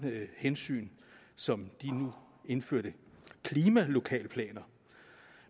hensyn som de nu indførte klimalokalplaner